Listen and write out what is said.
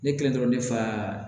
Ne kɛlen dɔrɔn ne fa